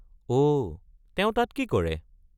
অ',তেওঁ তাত কি কৰে?